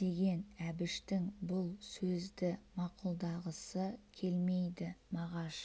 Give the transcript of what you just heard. деген әбіштің бұл сөзді мақұлдағысы келмейді мағаш